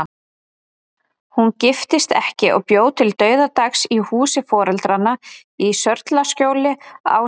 Hún giftist ekki og bjó til dauðadags í húsi foreldranna í Sörlaskjóli, ásamt